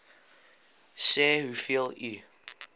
sê hoeveel u